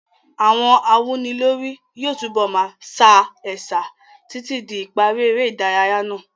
Àwọn awúnilórí yóò túbọ̀ máa sa ẹ̀sà títí di ìparí eré ìdárayá náà.